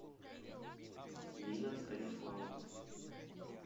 нина станиславовна